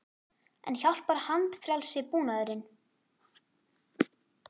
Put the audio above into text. En hjálpar handfrjálsi búnaðurinn?